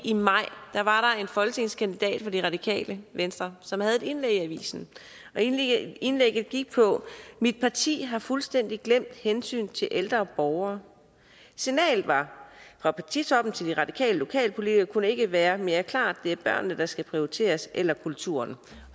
i maj var en folketingskandidat for det radikale venstre som havde et indlæg i avisen indlægget gik på mit parti har fuldstændig glemt hensynet til ældre borgere signalet fra partitoppen til de radikale lokalpolitikere kunne ikke være mere klart det er børnene der skal prioriteres eller kulturen